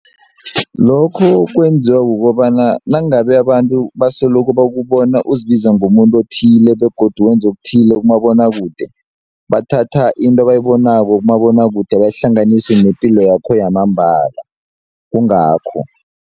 Lokho kwenziwa kukobana nangabe abantu basoloko bakubona uzibiza ngomuntu othile begodu wenza okuthile kumabonwakude bathatha into abayibonako kumabonwakude bayihlanganise nepilo yakho yamambala kungakho.